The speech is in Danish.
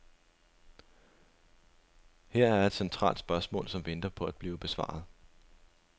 Her er et centralt spørgsmål, som venter på at blive besvaret.